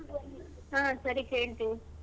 ಹಾ ಸರಿ ಕೇಳ್ತೀನಿ.